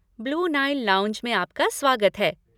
Blue Nile Lounge में आपका स्वागत है।